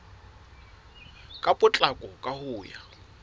ka potlako ka ho ya